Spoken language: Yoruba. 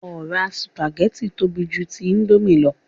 Ọ̀rá sùpàgẹ́tì tóbi ju ti íńdómì lọ